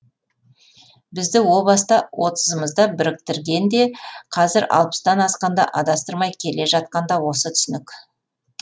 бізді о баста отызымызда біріктірген де қазір алпыстан асқанда адастырмай келе жатқан да осы түсінік